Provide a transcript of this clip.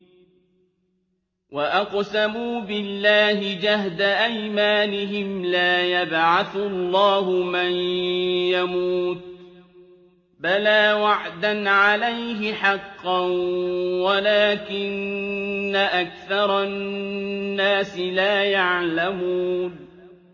وَأَقْسَمُوا بِاللَّهِ جَهْدَ أَيْمَانِهِمْ ۙ لَا يَبْعَثُ اللَّهُ مَن يَمُوتُ ۚ بَلَىٰ وَعْدًا عَلَيْهِ حَقًّا وَلَٰكِنَّ أَكْثَرَ النَّاسِ لَا يَعْلَمُونَ